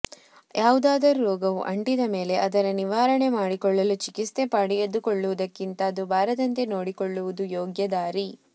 ಯಾವುದಾದರೂ ರೋಗವು ಅಂಟಿದ ಮೇಲೆ ಅದರ ನಿವಾರಣೆ ಮಾಡಿಕೊಳ್ಳಲು ಚಿಕಿತ್ಸೆ ಪಡೆದುಕೊಳ್ಳುವುದಕ್ಕಿಂತ ಅದು ಬಾರದಂತೆ ನೋಡಿಕೊಳ್ಳುವುದು ಯೋಗ್ಯ ದಾರಿ